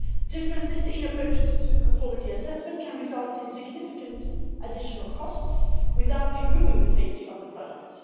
Differences in approaches to conformity assessment can result in significant additional costs without improving the safety of the products.